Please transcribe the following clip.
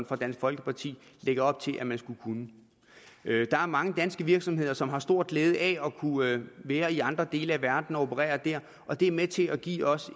fra dansk folkeparti lægger op til at man skulle kunne der er mange danske virksomheder som har stor glæde af at kunne være i andre dele af verden og operere der og det er med til at give os